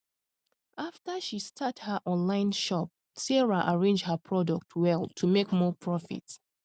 after she start her online shop sarah arrange her product well to make more profit